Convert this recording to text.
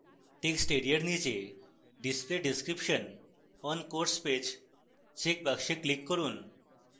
text এরিয়ার নীচে display description on course page checkbox click করুন